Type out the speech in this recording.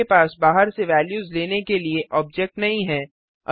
आपके पास बाहर से वैल्यूज लेने के लिए ऑब्जेक्ट नहीं है